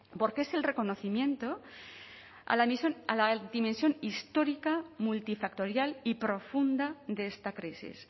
porque es el reconocimiento a la dimensión histórica multifactorial y profunda de esta crisis